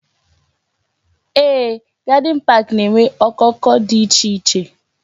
Yes, gardin pak na-enwe okoko dị iche iche